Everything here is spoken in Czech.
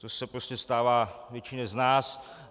To se prostě stává většině z nás.